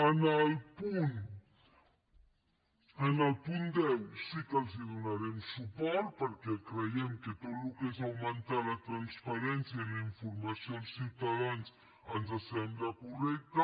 en el punt deu sí que els donarem suport perquè creiem que tot el que és augmentar la transparència i la informació als ciutadans ens sembla correcte